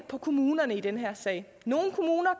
på kommunerne i den her sag nogle kommuner